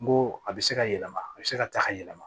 N ko a bɛ se ka yɛlɛma a bɛ se ka taa ka yɛlɛma